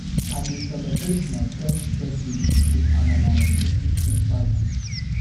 I dey celebrate my friend's birthday with amala and egusi soup party.